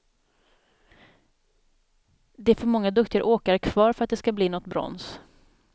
Det är för många duktiga åkare kvar för att det ska bli något brons.